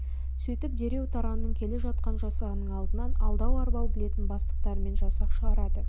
сөйтіп дереу таранның келе жатқан жасағының алдынан алдау-арбау білетін бастықтарымен жасақ шығарады